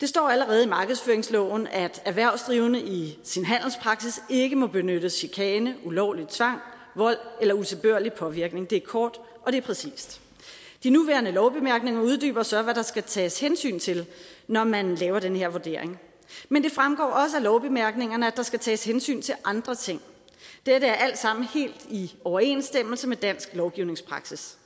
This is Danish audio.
der står allerede i markedsføringsloven at en erhvervsdrivende i sin handelspraksis ikke må benytte chikane ulovlig tvang vold eller utilbørlig påvirkning det er kort og det er præcist de nuværende lovbemærkninger uddyber så hvad der skal tages hensyn til når man laver den her vurdering men det fremgår også af lovbemærkningerne at der skal tages hensyn til andre ting dette er alt sammen helt i overensstemmelse med dansk lovgivningspraksis